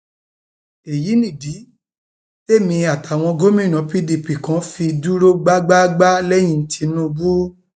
èyí ni ìdí témi àtàwọn gómìnà pdp kan fi dúró gbágbáágbá lẹyìn tìǹbù